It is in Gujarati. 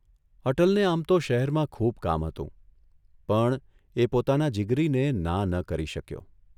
અટલને આમ તો શહેરમાં ખૂબ કામ હતું, પણ એ પોતાના જીગરીને ના ન કરી શક્યો.